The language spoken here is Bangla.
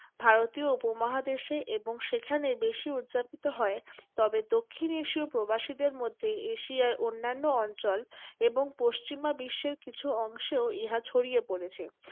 ভারতীয় উপমহাদেশে এবং সেখানে বেশী উদযাপিত হয়। তবে দক্ষিণ এশীয় প্রবাসীদের মধ্যে এশিয়ায় অন্যান্য অঞ্চল এবং পশ্চিমা বিশ্বের কিছু অংশেও ইহা ছড়িয়ে পড়েছে।